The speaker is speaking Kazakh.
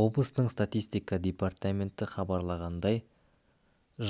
облыстың статистика департаменті хабарлағандай